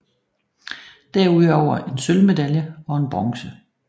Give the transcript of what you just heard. Derudover en sølvmedalje og en bronze